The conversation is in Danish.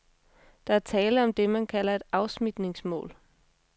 Der er tale om det, man kalder et afsmitningslån.